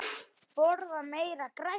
Borða meira grænt.